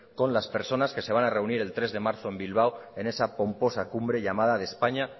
con las personas que se van a reunir el tres de marzo en bilbao en esa pomposa cumbre llamada de españa